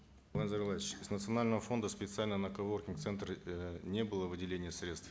нурлан зайроллаевич из национального фонда специально на коворкинг центры э не было выделения средств